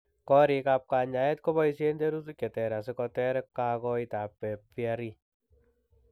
Koriik ab kanyaeet koboisien terutik cheter asikoteer kakoitoet ab VRE